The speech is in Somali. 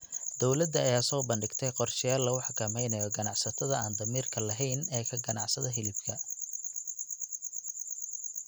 Dowladda ayaa soo bandhigtay qorsheyaal lagu xakameynayo ganacsatada aan damiirka lahayn ee ka ganacsada hilibka.